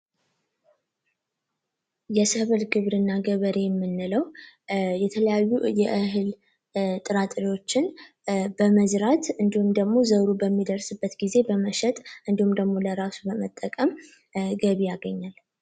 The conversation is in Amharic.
የሰብል ግብርና የሰብል ገበሬ የምንለው የተለያዩ ጥራጥሬዎችን በመዝራት እንዲሁም ደግሞ በሚደርስበት ጊዜ በመሸጥ እንዲሁም ደሞ ለራሱ መጠቀም ገቢ አገኛል።